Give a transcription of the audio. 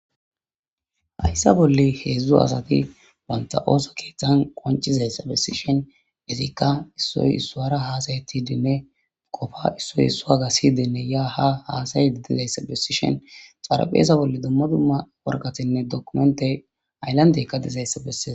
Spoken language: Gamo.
Haysa bolla hezdzdu asati banta ooso kethani qoncizaysa besishni izika issoy isuwara hada'etidinne Qopa issoy issuwaga siyidinne ya ha hasa'id diyaga besishn xarapheza bolla dumma dumma waraqatayinne documentey haylandeyka dizaysa beses.